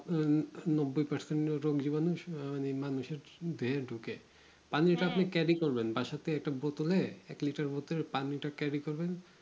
আপনার নব্বই percent ওরকম জবানু আহ মানুষের দেহে ঢুকে পানিটা করবেন বাসাথেকে একটা বোতলে এক liter বোতলে পানিটা carry করবেন